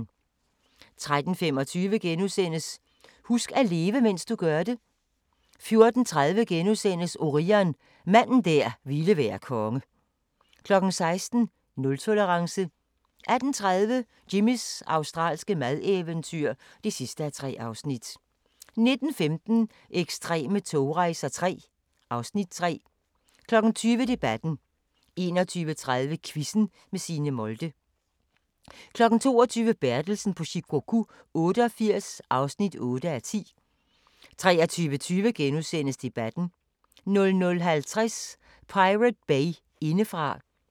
13:25: Husk at leve, mens du gør det * 14:30: Orion – manden der ville være konge * 16:00: Nultolerance 18:30: Jimmys australske madeventyr (3:3) 19:15: Ekstreme togrejser III (Afs. 3) 20:00: Debatten 21:30: Quizzen med Signe Molde 22:00: Bertelsen på Shikoku 88 (8:10) 23:20: Debatten * 00:50: Pirate Bay indefra